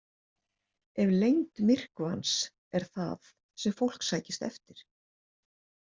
Ef lengd myrkvans er það sem fólk sækist eftir.